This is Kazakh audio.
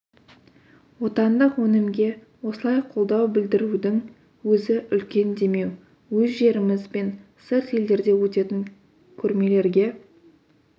отандық өнімге осылай қолдау білдірудің өзі үлкен демеу өз жеріміз бен сырт елдерде өтетін көрмелерге